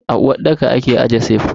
A uwarɗaka ake aje sif.